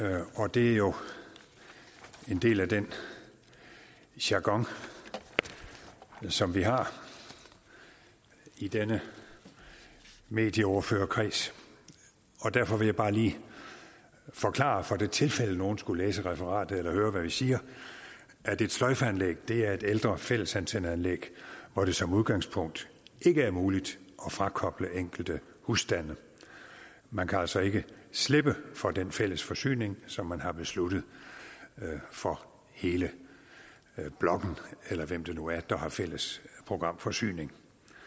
det er jo en del af den jargon som vi har i denne medieordførerkreds og derfor vil jeg bare lige forklare for det tilfælde at nogen skulle læse referatet eller høre hvad vi siger at et sløjfeanlæg er et ældre fællesantenneanlæg hvor det som udgangspunkt ikke er muligt at frakoble enkelte husstande man kan altså ikke slippe for den fælles forsyning som man har besluttet for hele blokken eller hvem det nu er der har fælles programforsyning